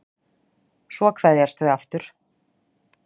Svo kveðjast þau aftur.